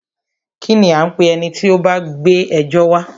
Kínní a ń pé ẹni tí o bá gbé ẹjọ́ wa?